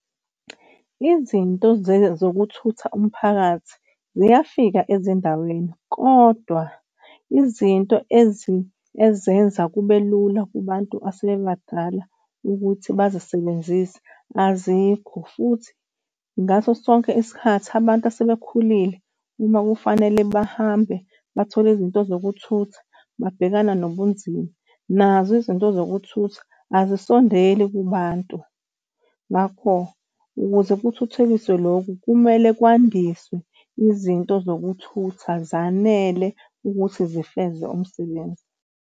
Izinto zokuthutha umphakathi ziyafika ezindaweni, kodwa izinto ezenza kube lula kubantu asebebadala ukuthi bazisebenzise azikho. Futhi ngaso sonke isikhathi abantu asebekhulile uma kufanele bahambe bathole izinto zokuthutha, babhekana nobunzima nazo izinto zokuthutha azisondeli kubantu. Ngakho, ukuze kuthuthukiswe, lokhu kumele kwandiswe izinto zokuthutha zanele ukuthi sifeze umsebenzi.